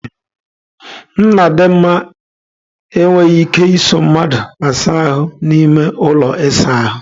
Nnadinma enweghị ike ịso mmadụ asa ahu n'ime ụlọ ịsa ahụ.